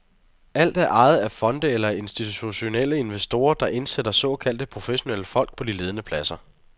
Alt er ejet af fonde eller af institutionelle investorer, der indsætter såkaldte professionelle folk på de ledende pladser.